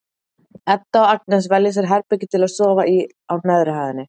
Edda og Agnes velja sér herbergi til að sofa í á neðri hæðinni.